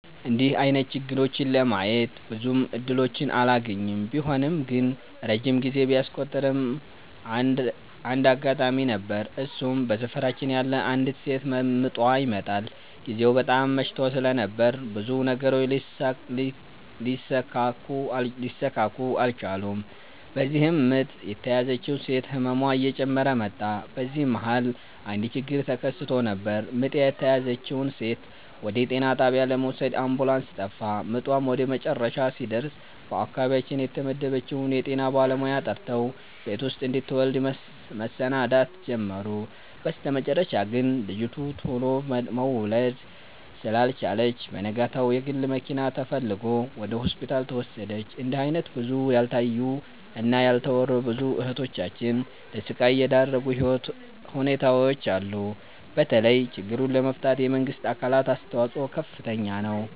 እንድህ አይነት ችግሮችን ለማየት ብዙም እድሎችን አላገኝም። ቢሆንም ግን ረጅም ጊዜ ቢያስቆጥርም አንድ አጋጣሚ ነበር እሱም በሰፈራችን ያለች አንዲት ሴት ምጧ ይመጠል። ግዜው በጣም መሽቶ ስለነበር ብዙ ነገሮች ሊሰካኩ አልቻሉም። በዚህም ምጥ የተያዘችው ሴት ህመሟ እየጨመረ መጣ። በዚህ መሀል አንድ ችግር ተከስቶ ነበር ምጥ የተያዘችውን ሴት ወደ ጤና ጣቢያ ለመውሰድ አምቡላንስ ጠፋ። ምጧም ወደመጨረሻ ሲደርስ በአካባቢያችን የተመደበችውን የጤና ባለሙያ ጠርተው ቤት ውስጥ እንድትወልድ መሰናዳት ጀመሩ። በስተመጨረሻ ግን ልጂቱ ቱሎ መውለድ ስላልቻለች በነጋታው የግል መኪና ተፈልጎ ወደ ሆስፒታል ተወሰደች። እንድህ አይነት ብዙ ያልታዩ እና ያልተወሩ ብዙ እህቶቻችን ለስቃይ የዳረጉ ሁኔታዎች አሉ። በተለይ ችግሩን ለመፍታት የመንግስት አካላት አስተዋጽኦ ከፍተኛ ነው።